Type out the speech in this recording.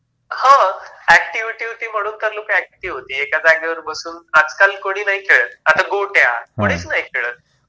हां, अॅक्टिव्हिटी होती म्हणून तर लोकं अॅक्टिव्ह होती. एका जागेवर बसून आजकाल कोणी नाही खेळत. आता गोट्या, कोणीच नाही खेळत.